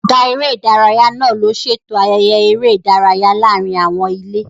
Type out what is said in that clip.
Ọ̀gá eré ìdárayá náà ló ṣètò ayẹyẹ eré ìdárayá láàárín àwọn ilé